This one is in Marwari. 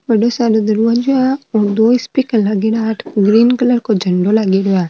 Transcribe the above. बड़ो सारो दरवाजो है और दो स्पीकर लागेडा है --